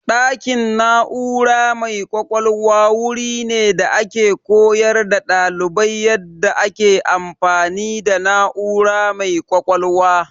Ɗakin na'ura mai ƙwaƙwalwa wuri ne da ake koyar da ɗalibai yadda ake amfani da na'ura mai ƙwaƙwalwa.